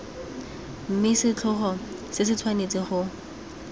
mme setlhogo se tshwanetse go